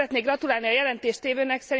Szeretnék gratulálni a jelentéstévőnek.